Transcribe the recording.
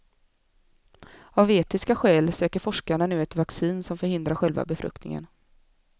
Av etiska skäl söker forskarna nu ett vaccin som förhindrar själva befruktningen.